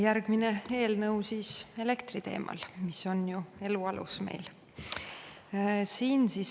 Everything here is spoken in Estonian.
Järgmine eelnõu on elektri teemal, mis on ju meil elu alus.